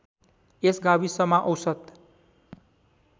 यस गाविसमा औसत